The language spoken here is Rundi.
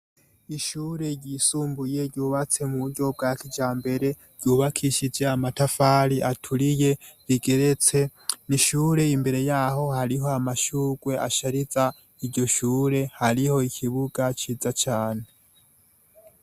Ishure ryisumbuye ryubatse mu buryo bwa kijambere, ryubakishije amatafari aturiye, rigeretse. Ni ishure imbere yaho hariho amashugwe ashariza iryo shure, hariho ikibuga ciza cane.